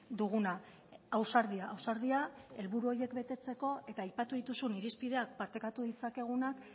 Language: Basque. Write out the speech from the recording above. duguna ausardia ausardia helburu horiek betetzeko eta aipatu dituzun irizpideak partekatu ditzakegunak